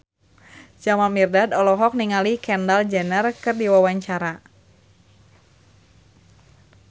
Jamal Mirdad olohok ningali Kendall Jenner keur diwawancara